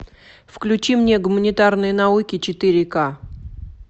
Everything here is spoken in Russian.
включи мне гуманитарные науки четыре ка